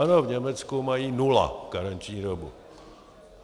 Ano, v Německu mají nula karenční dobu.